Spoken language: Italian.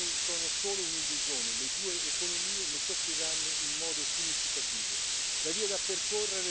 I benefici temporanei sono solo un'illusione, le due economie ne soffriranno in modo significativo.